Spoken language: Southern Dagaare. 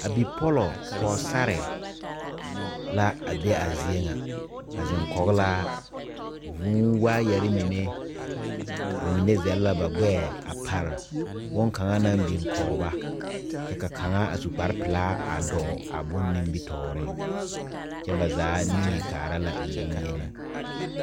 Bonmaale zanne zie la a kyɛ dɔbɔ ane pɔɔbɔ la a laŋtaa a dɔbɔ mine su la kpare nuwogre ka kaŋa dɔɔ kyɛ ka ba kyɛlɛɛ na are are a nyoge mansen kpoŋ kaŋ a are neŋ a die zie zaa e na kɔlɔŋkɔlɔŋ lɛ kaa birikyire ba naŋ mɛ ne a e zeere kyɛ ka zie zaa a veɛlɛ kaŋa zaa ba vɔgle zupile.